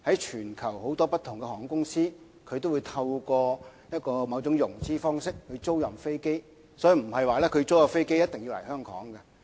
全球很多不同的航空公司也會透過某種融資方式租賃飛機，所以租出的飛機並不一定要來香港。